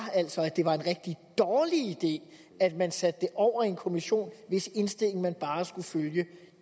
at det var en rigtig dårlig idé at man satte det over i en kommission hvis indstilling man bare skulle følge